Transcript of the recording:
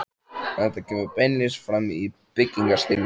Þetta kemur beinlínis fram í byggingarstílnum.